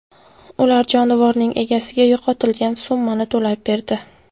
Ular jonivorning egasiga yo‘qotilgan summani to‘lab berdi.